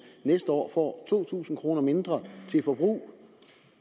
næste år får to tusind kroner mindre til forbrug